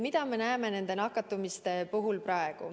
Mida me näeme nakatumiste puhul praegu?